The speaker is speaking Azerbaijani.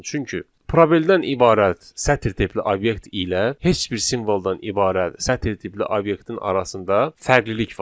Çünki probeldən ibarət sətr tipli obyekt ilə heç bir simvoldan ibarət sətr tipli obyektin arasında fərqlilik var.